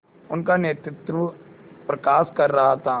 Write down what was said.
उनका नेतृत्व प्रकाश कर रहा था